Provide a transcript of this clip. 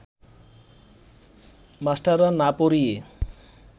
মাস্টাররা না পড়িয়ে